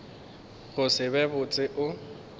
go se be botse o